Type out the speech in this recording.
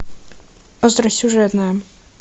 остросюжетное